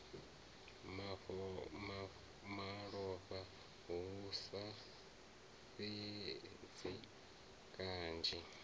malofha hu sa fhidzi kanzhi